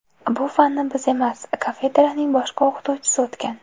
Bu fanni biz emas, kafedraning boshqa o‘qituvchisi o‘tgan.